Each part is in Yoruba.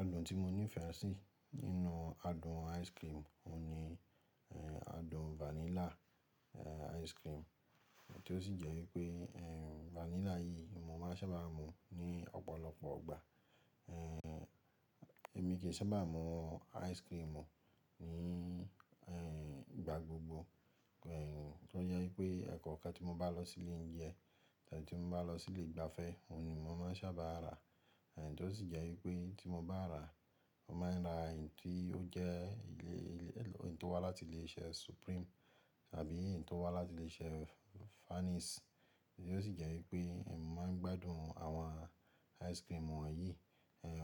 Adùn tí mo nífẹ̀ẹ́ sí nínú adùn ice cream òun ni adùn vanilla ice cream, tí ó sì jẹ́ wípé vanilla yìí ni máa ń sábà mún ní ọ̀pọ̀lọpọ̀ igbà. Èmi kì í sábà mú ice cream ní ìgbà gbogbo, tó jẹ́ wípé ẹ̀ kọ̀ọ̀kan tí mo bá lọ sílé ounjẹ, tí mo bá lọ sí ilé ìgbafẹ́, òun ni mo máa ń sábà rà. Tí ó sì jẹ́ wípé tí mo bá rà, mo máa ń rà èyí tí ó jẹ́, èyí tí ó wá láti ilé-iṣẹ́ Supreme tàbí èyí tí ó wá láti ilé-iṣẹ́ Fanny's. Tí ó sì jẹ́ wípé èmi máa ń gbádùn àwọn ice cream wọ̀nyí.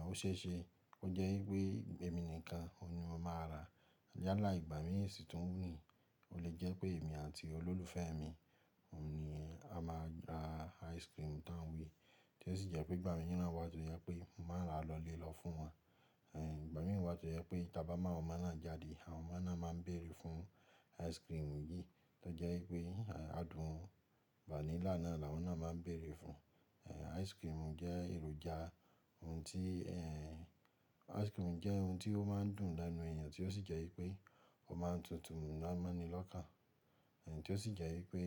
Ó ṣe é ṣe, ó jẹ́ wípé èmi nìkan òun ni mo máa rà. Yálà ìgbà míì sì tún ní, o lè jẹ́ pé èmi àti olólùfẹ́ mi, òun ni a máa rà ice cream tá ń wí. Tí ó sì jẹ́ pé ìgbà mìíràn wá tó jẹ́ pé mo máa rà lọlé lọ fún wọn. Ìgbà mìíràn wá tó jẹ́ pé tí a bá mu àwọn ọmọ náà jáde, àwọn ọmọ náà máa ń bèèrè fún ice cream yìí. Tí ó jẹ́ wípé adùn vanilla náà làwọn náà máa ń bèèrè fún. Ice cream jẹ́ èròjà ohun tí, ice cream jẹ́ ohun tí ó máa ń dùn lẹ́nu èèyàn tí ó sì jẹ́ wípé ó máa ń tutù ná má ni lọ́kàn. Tí ó sì jẹ́ wípé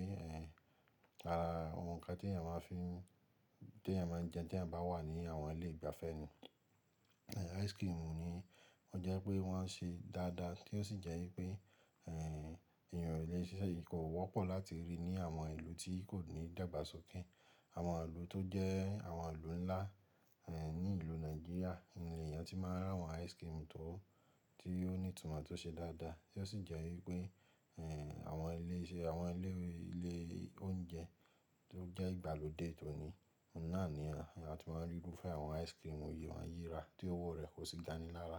ara ohun kan tí èèyàn máa ń fi, tí èèyàn máa ń jẹ tí èèyàn bá wà ní àwọn ilé ìgbafẹ́ ni. Ice cream ni wọ́n jẹ́ pé wọ́n ṣe dáadáa, tí ó sì jẹ́ wípé èèyàn ilé iṣẹ́ yìí kò wọ́pọ̀ láti rí ní àwọn ìlú tí kò ní dàgbàsókè. Àwọn ìlú tó jẹ́ àwọn ìlú ńlá ní ìlú Nàìjíríà ni èèyàn tí máa ń rà àwọn ice cream tó, tí ó ní ìtumọ̀ tó ṣe dáadáa. Tí ó sì jẹ́ wípé àwọn ilé iṣẹ́, àwọn ilé oúnjẹ tó jẹ́ ìgbàlódé tòní, òun náà ni àwọn èèyàn tí máa ń rí irúfẹ́ àwọn ice cream wọ̀nyí wọ́n yí ra tí owó rẹ̀ kò sì ga ní lára.